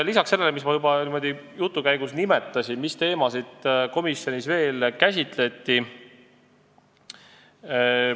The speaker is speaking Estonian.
Lisaks sellele, mida ma niimoodi jutu käigus nimetasin, käsitleti komisjonis veel järgmisi teemasid.